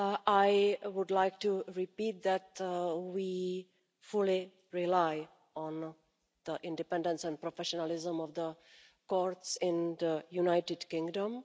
I would like to repeat that we fully rely on the independence and professionalism of the courts in the United Kingdom.